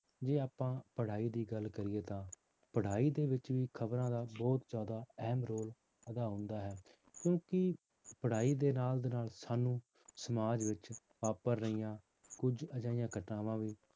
ਜੇ ਆਪਾਂ ਪੜ੍ਹਾਈ ਦੀ ਗੱਲ ਕਰੀਏ ਤਾਂ ਪੜ੍ਹਾਈ ਦੇ ਵਿੱਚ ਵੀ ਖ਼ਬਰਾਂ ਦਾ ਬਹੁਤ ਜ਼ਿਆਦਾ ਅਹਿਮ role ਅਦਾ ਹੁੰਦਾ ਹੈ ਕਿਉਂਕਿ ਪੜ੍ਹਾਈ ਦੇ ਨਾਲ ਦੀ ਨਾਲ ਸਾਨੂੰ ਸਮਾਜ ਵਿੱਚ ਵਾਪਰ ਰਹੀਆਂ ਕੁੱਝ ਅਜਿਹੀਆਂ ਘਟਨਾਵਾਂ ਦੀ